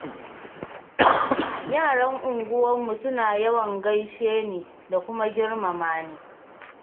Yaran unguwarmu suna yawan gaishe ni da kuma girmama ni.